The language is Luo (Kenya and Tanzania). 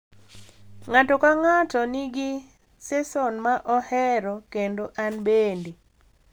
Ng’ato ka ng’ato nigi seson ma ohero kendo an bende.